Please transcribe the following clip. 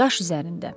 Daş üzərində.